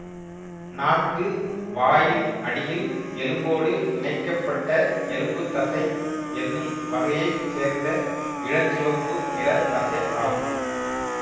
நாக்கு வாயின் அடியில் எலும்போடு இணைக்க பட்ட எலும்புத்தசை என்னும் வகையை சேர்ந்த இளஞ்சிவப்பு நிறத் தசை ஆகும்